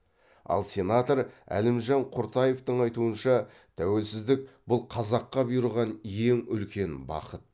ал сенатор әлімжан құртаевтың айтуынша тәуелсіздік бұл қазаққа бұйырған ең үлкен бақыт